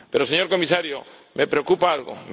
Pero, señor Comisario, me preocupa algo.